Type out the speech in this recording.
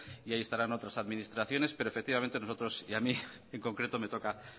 y ahí estarán otras administraciones pero efectivamente nosotros y a mí en concreto me toca